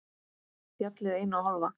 Fjallið eina og hálfa.